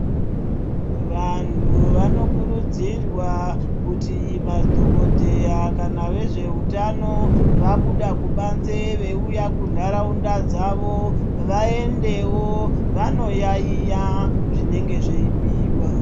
Vanhu vanokurudzirwa kuti madhokodheya kana vezveutano vabuda kubanze veiuya kunharaunda dzavo, vaendewo vanoyaiya zvinenge zveibhuyiwa.